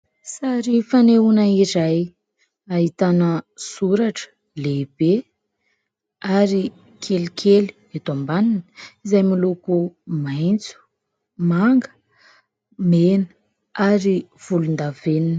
Sary fanehoana iray. Ahitana soratra lehibe ary kelikely eto ambaniny izay miloko maitso, manga, mena ary volondavenona.